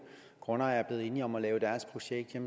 grundejere er blevet enige om at lave deres projekt